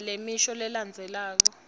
fundza lemisho lelandzelako